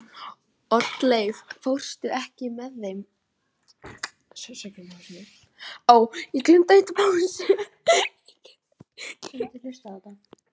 Oddleif, ekki fórstu með þeim?